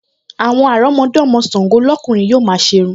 Àwọn àrọ́mọdọ́mọ Ṣàngọ́ lọ́kùnrin yóò máa ṣe irun